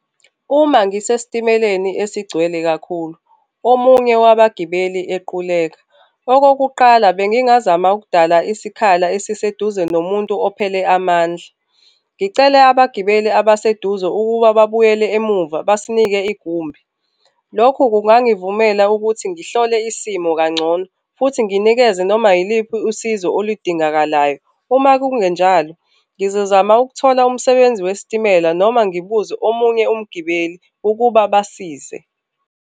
Uma ngisesitimeleni esigcwele kakhulu, omunye wabagibeli equleka, okokuqala bengingazama ukudala isikhala esiseduze nomuntu ophele amandla, ngicele abagibeli abaseduze ukuba babuyele emuva basinike igumbi. Lokhu kungangivumela ukuthi ngihlole isimo kangcono futhi nginikeze noma iliphi usizo oludingakalayo. Uma kungenjalo, ngizozama ukuthola umsebenzi wesitimela noma ngibuze omunye umgibeli ukuba basize.